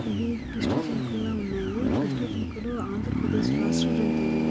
ఇవి కృష్ణ జింకల్లా ఉన్నాయి. కృష్ణ జింకలు ఆంధ్రప్రదేశ్ రాష్ట్ర జంతువు.